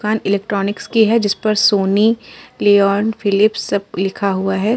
दुकान इलेक्ट्रॉनिक की है। जिस पर सोनी लिओन फिलिप सब लिखा हुआ हैं।